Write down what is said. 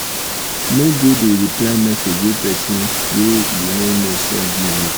no go dey reply message wey pesin wey you no know send give you.